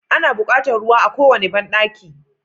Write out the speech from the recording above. Ana buƙatar ruwa a kowane banɗaki.